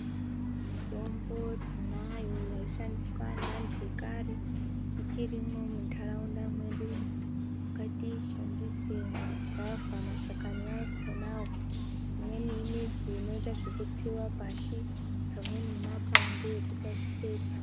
Mitombo tinayo yaishandiswa neantu ekare. Ichirimwo muntaraunda mwedu. Ngatiishandise migwavha mashakani akhonawo. Imweni imidzi inoite zvekutsiwa pashi. Amweni makwande ekuita kutsetsa.